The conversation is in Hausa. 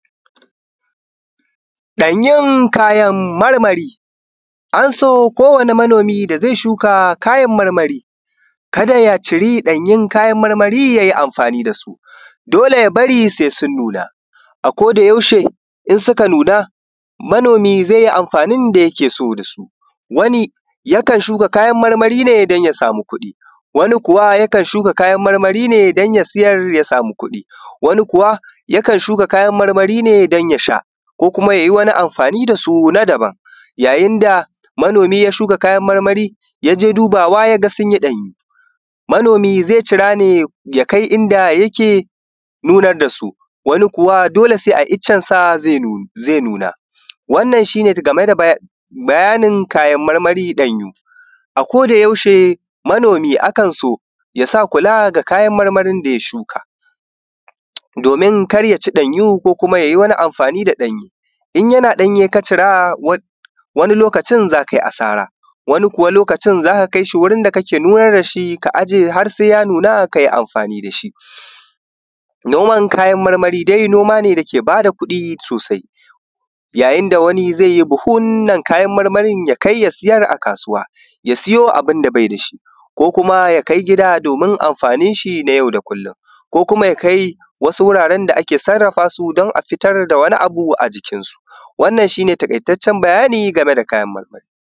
Ɗanyen kayan marmari an so kowanne manomi da zai shuka kayan marmari ka da ya ciri ɗayan kayan marmari ya yi amfani da su, dole ya bari sai sun nuna a koyaushe idan suka nuna manomin zai yi amfani da yake so da su. Wani yakan shuka kayan marmari ne don ya samu kudi wani kuwa yakan shuka kayan marmari ne don ya sha ko ya yi wani amfani da su na daban, yayin da manomi ya shuka kayan marmari ya je dubawa ya ga sun yi ɗanye. Manomi zai cira ne ya kai inda yake nunar da su, wani kuwa dole sai a iccensa zai nuna. Wannan shi ne bayanin kayan marmari ɗanyu. Ko da yaushe manomi ana so ya sa kula ga kayan marmari da ya shuka, domin kar ya ci ɗanyu ya wani amfani da ɗanyu. In yana ɗanye ka cire wani lokacin za ka yi asara wani lokacin za ka kai shi wuri da kake nunar da shi har sai ya nuna ka yi amfani da shi. Noman kayan marmari noma ne da yake ba da kuɗi sosai yayin da wani zai yi buhunnan kayan marmari ya je ya sayar a kasuwa ya siyo abun da bai da shi ko kuma ya kai gida don amfani shi na yau da kullum ko kuma ya kai wasu wuraren da ake sarrafa su don a fitar da wani abu a jikinsu. wannan shi ne taƙaitaccen bayani gane da kayan marmari.